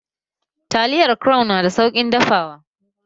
Taliyar crown nada sauƙin dafawa?